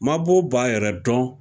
Mabɔ b'a yɛrɛ dɔn